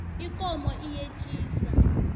ikomo iyetjisa